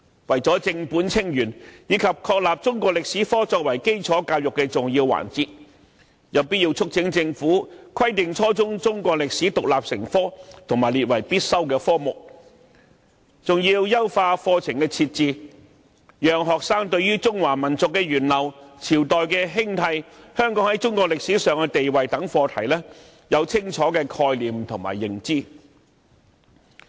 為了正本清源，以及確立中史科作為基礎教育的重要環節，因此有必要促請政府規定將初中中史獨立成科及列為必修科目，並優化課程內容，從而讓學生對中華民族的源流、朝代興替、香港在中國歷史上的地位等課題，都有清楚的概念和認知。